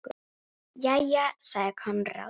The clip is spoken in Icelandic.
Jæja, sagði Konráð.